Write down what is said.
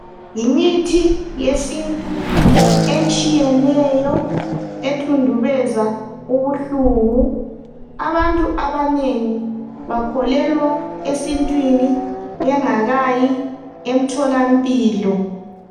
Imithi yesintu etshiyeneyo ethundubeza ubuhlungu abantu abanengi bakholelwa esintwini bengakayi emtholampilo